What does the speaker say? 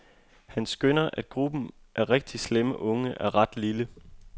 Han skønner, at gruppen af rigtigt slemme unge er ret lille.